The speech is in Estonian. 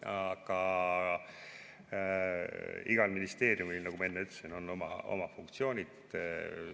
Aga igal ministeeriumil, nagu ma enne ütlesin, on oma funktsioonid.